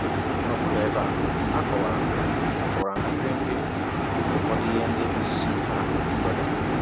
N’ọkpụrụ ebe a, a kọwara ná kọwara ná mkpirikpi ụfọdụ ihe ndị bụ́ isi ha kweere.